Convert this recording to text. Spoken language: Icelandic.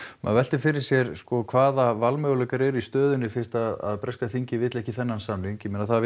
maður veltir fyrir sér hvaða valmöguleikar eru í stöðunni fyrst að breska þingið vill ekki þennan samning ég meina það